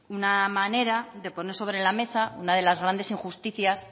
una manera de poner sobre la mesa una de las grandes injusticias